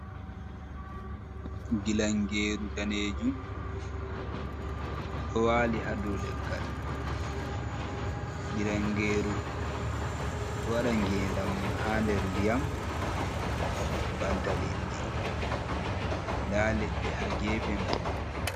Gilangeeru danejum, ɗo wali hadow leggal Gilangeeru ɗo waɗa gendam mun ha nder ndiyam banta liɗɗi nda leɗɗe ha gefe mai.